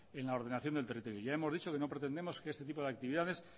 en la ordenación del territorio ya hemos dicho que no pretendemos que este tipo de actividades